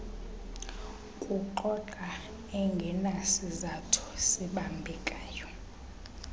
kuxoxa engenasizathu sibambekayo